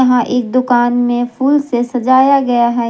एक दुकान में फूल से सजाया गया है।